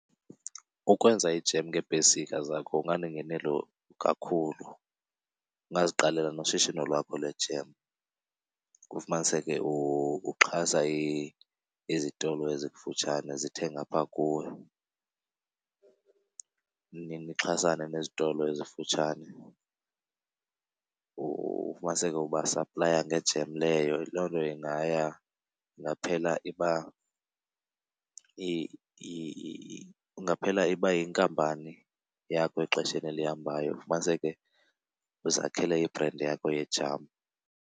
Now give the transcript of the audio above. Ukwenza ijem ngeepesika zakho unganengelo kakhulu. Ungaziqalela noshishino lwakho lejem, kufumaniseke uxhasa izitolo ezikufutshane zithenge apha kuwe, nixhasane nezitolo ezikufutshane. Ufumaniseke ubasaplaya ngejem leyo. Loo nto ingaya, ingaphela , ingaphela iba yinkampani yakho exesheni elihambayo, ufumaniseke uzakhele i-brand yakho yejam.